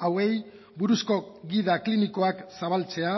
hauei buruzko gida klinikoak zabaltzea